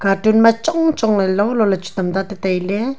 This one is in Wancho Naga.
cartoon ma chong chong ley lolo ley chu tamta ta tailey.